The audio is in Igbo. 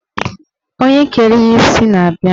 Onye kere ya isi na-abia